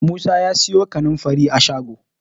Musa ya siyo kanin fari a shago